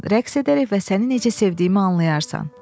Rəqs edərək və səni necə sevdiyimi anlayarsan.